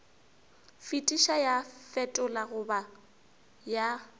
fetiša ya fetola goba ya